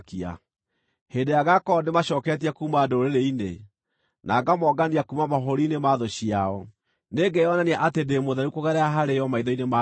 Hĩndĩ ĩrĩa ngaakorwo ndĩmacooketie kuuma ndũrĩrĩ-inĩ, na ngaamongania kuuma mabũrũri-inĩ ma thũ ciao, nĩngeyonania atĩ ndĩ mũtheru kũgerera harĩo maitho-inĩ ma ndũrĩrĩ nyingĩ.